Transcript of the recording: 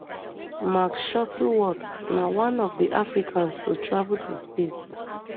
mark shuttleworth na one of di africans to travel to space